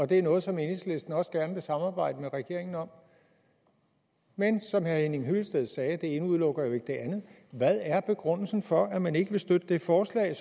det er noget som enhedslisten også gerne vil samarbejde med regeringen om men som herre henning hyllested sagde det ene udelukker jo ikke det andet hvad er begrundelsen for at man ikke vil støtte det forslag